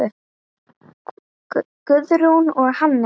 Guðrún og Hannes.